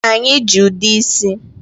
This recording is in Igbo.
Anyị ji ude isi.